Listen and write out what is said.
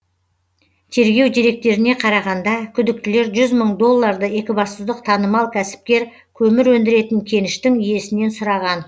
тергеу деректеріне қарағанда күдіктілер жүз мың долларды екібастұздық танымал кәсіпкер көмір өндіретін кеніштің иесінен сұраған